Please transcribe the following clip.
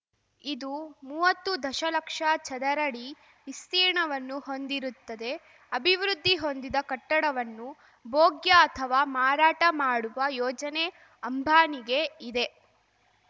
ಇದು ಮುವ್ವತ್ತು ದಶಲಕ್ಷ ಚದರಡಿ ವಿಸ್ತೀರ್ಣವನ್ನು ಹೊಂದಿರುತ್ತದೆ ಅಭಿವೃದ್ಧಿ ಹೊಂದಿದ ಕಟ್ಟಡವನ್ನು ಭೋಗ್ಯ ಅಥವಾ ಮಾರಾಟ ಮಾಡುವ ಯೋಜನೆ ಅಂಬಾನಿಗೆ ಇದೆ